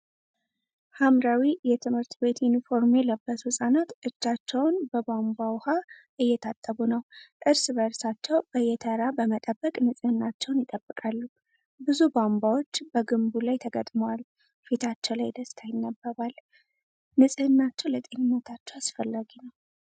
ሐምራዊ የትምህርት ቤት ዩኒፎርም የለበሱ ህፃናት እጃቸውን በቧንቧ ውኃ እየታጠቡ ነው። እርስ በእርሳቸው በየተራ በመጠበቅ ንጽህናቸውን ይጠብቃሉ። ብዙ ቧንቧዎች በግንቡ ላይ ተገጥመዋል። ፊታቸው ላይ ደስታ ይነበባል። ንጽህናቸው ለጤንነታቸው አስፈላጊ ነው።